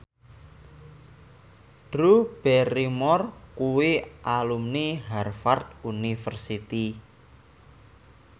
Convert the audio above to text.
Drew Barrymore kuwi alumni Harvard university